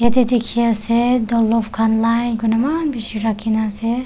Te dekhey ase downloaf khan line kurina eman beshi rakhina ase.